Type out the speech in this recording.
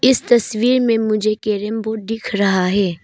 इस तस्वीर में मुझे कैरम बोर्ड दिख रहा है।